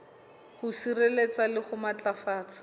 ho sireletsa le ho matlafatsa